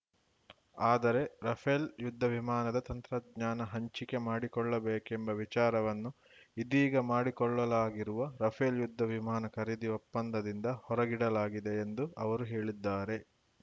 ಆದರೆ ರಫೇಲ್‌ ಯುದ್ಧ ವಿಮಾನದ ತಂತ್ರಜ್ಞಾನ ಹಂಚಿಕೆ ಮಾಡಿಕೊಳ್ಳಬೇಕೆಂಬ ವಿಚಾರವನ್ನು ಇದೀಗ ಮಾಡಿಕೊಳ್ಳಲಾಗಿರುವ ರಫೇಲ್‌ ಯುದ್ಧ ವಿಮಾನ ಖರೀದಿ ಒಪ್ಪಂದದಿಂದ ಹೊರಗಿಡಲಾಗಿದೆ ಎಂದು ಅವರು ಹೇಳಿದ್ದಾರೆ